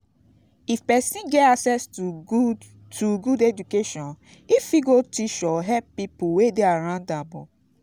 if persin get accesss to good to good education im go fit teach or help pipo wey de around am